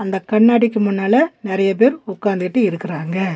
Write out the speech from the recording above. இந்த கண்ணாடிக்கு முன்னால நெறைய பேர் உக்காந்துகிட்டு இருக்குறாங்க.